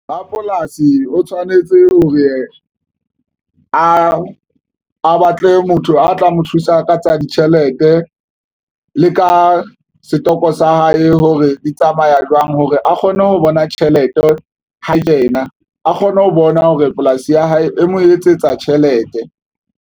Rapolasi o tshwanetse hore a batle motho a tla mo thusa ka tsa ditjhelete le ka setoko sa hae, hore di tsamaya jwang hore a kgone ho bona tjhelete ho yena, a kgone ho bona hore polasi ya hae e mo etsetsa tjhelete.